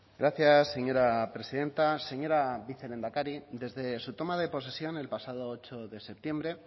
gracias señora presidenta señora vicelehendakari desde su toma de posesión el pasado ocho de septiembre